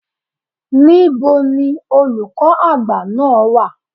Níbo ni Olùkọ́ Àgbà náà wà?